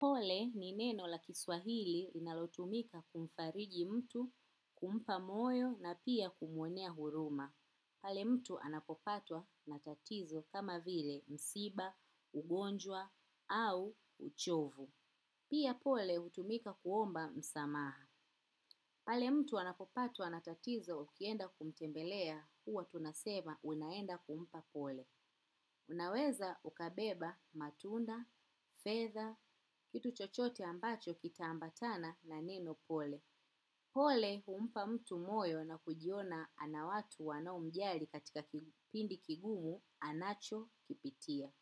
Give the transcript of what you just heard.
Pole ni neno la kiswahili linalotumika kumfariji mtu, kumpa moyo na pia kumuonea huruma. Pale mtu anapopatwa na tatizo kama vile msiba, ugonjwa au uchovu. Pia pole utumika kuomba msamaha. Pale mtu anapopatwa na tatizo ukienda kumtembelea huwa tunasema unaenda kumpa pole. Unaweza ukabeba matunda, fedha, kitu chochote ambacho kita ambatana na neno pole. Pole humpa mtu moyo na kujiona anawatu wanaomjali katika kipindi kigumu anachokipitia.